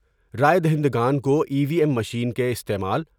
راۓ دہندگان کو E V M machine کے استعمال۔